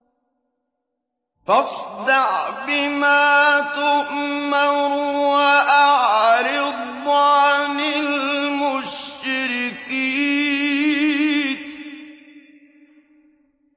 فَاصْدَعْ بِمَا تُؤْمَرُ وَأَعْرِضْ عَنِ الْمُشْرِكِينَ